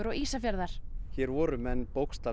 Ísafjarðar hérna voru menn